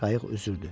Qayıq üzürdü.